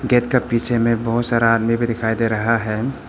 Gate के पीछे में बहुत सारा आदमी भी दिखाई दे रहा है।